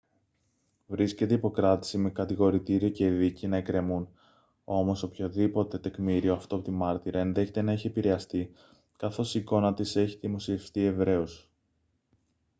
βρίσκεται υπό κράτηση με κατηγορητήριο και δίκη να εκκρεμούν όμως οποιοδήποτε τεκμήριο αυτόπτη μάρτυρα ενδέχεται να έχει επηρεαστεί καθώς η εικόνα της έχει δημοσιευτεί ευρέως